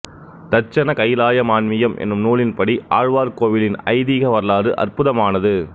தட்சண கைலாய மான்மியம் எனும் நூலின்படி ஆழ்வார் கோவிலின் ஐதீக வரலாறு அற்புதமானது